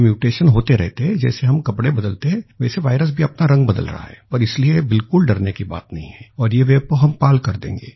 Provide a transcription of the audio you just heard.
ये म्यूटेशन होते रहते हैं जैसे हम कपड़े बदलते हैं वैसे वायरस भी अपना रंग बदल रहा है और इसलिए बिलकुल डरने की बात नहीं है और ये वेव को हम पार कर देंगे